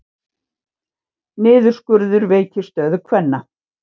Niðurskurður veikir stöðu kvenna